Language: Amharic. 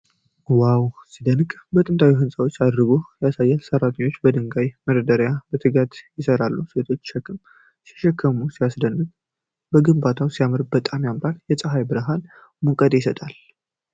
ዋው ሲያስደንቅ! የጥንት ሕንፃዎች እድሳት ያስደስታል። ሠራተኞቹ ድንጋዮችን በመደርደር በትጋት ይሠራሉ። ሴቶቹ ሸክም ሲሸከሙ ሲያደክም። ግንባታው ሲያልቅ በጣም ያምራል። የፀሐይ ብርሃን ሙቀት ይሰጣል።